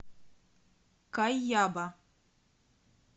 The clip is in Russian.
кайяба